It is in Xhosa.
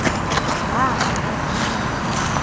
ndahamba ndada ndamngaka